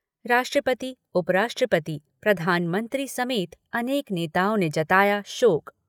राष्ट्रपति, उपराष्ट्रपति, प्रधानमंत्री समेत अनेक नेताओं ने जताया शोक।